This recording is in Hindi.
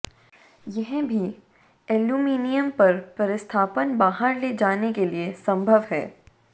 यह भी एल्यूमीनियम पर प्रतिस्थापन बाहर ले जाने के लिए संभव है